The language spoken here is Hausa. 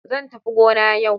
Zan tafi gona yau.